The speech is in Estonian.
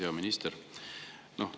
Hea minister!